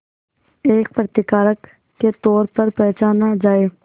एक प्रतिकारक के तौर पर पहचाना जाए